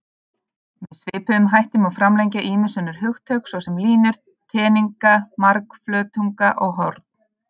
Með svipuðum hætti má framlengja ýmis önnur hugtök, svo sem línur, teninga, margflötunga og horn.